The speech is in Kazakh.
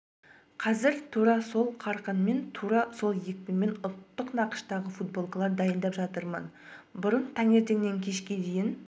қазір тура сол қарқынмен тура сол екпінмен ұлттық нақыштағы футболкалар дайындап жатырмын бұрын таңертеңнен кешке дейін